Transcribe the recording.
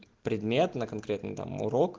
предмет на конкретный там урок